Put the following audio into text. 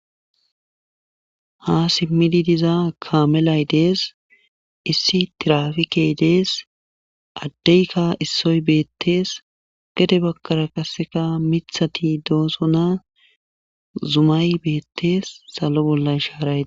ha simmidi diza kaamelay dees issi tirafikey dees addeykka issoy beettees gede bakara kasseka mithati doosona zumay beettees salo bollan shaaraye